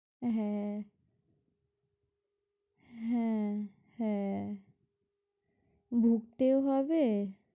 হ্যাঁ হ্যাঁ হ্যাঁ বুঝতেও হবে।